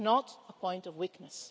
It's not a point of weakness.